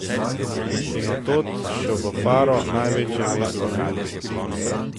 In od tod še v Faro, največje mesto na jugu.